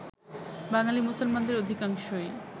বাঙালী মুসলমানদের অধিকাংশই